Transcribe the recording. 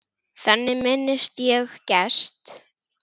Þannig minnist ég Gests.